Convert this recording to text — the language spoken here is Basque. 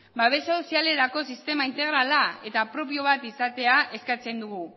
babes sozialerako sistema integrala eta propio bat izatea eskatzen dugu